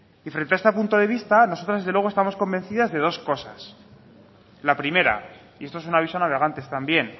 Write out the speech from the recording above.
y frente a este punto de vista nosotros desde luego estamos convencidas de dos cosas la primera y esto es un aviso a navegantes también